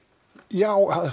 já